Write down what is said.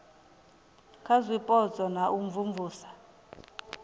kha zwipotso na u imvumvusa